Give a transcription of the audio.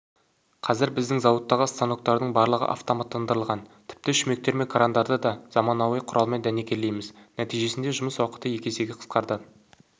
қазір біздің зауыттағы станоктардың барлығы автоматтандырлыған тіпті шүмектер мен крандарды да заманауи құралмен дәнекерлейміз нәтижесінде жұмыс уақыты екі есеге қысқарды